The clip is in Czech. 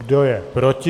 Kdo je proti?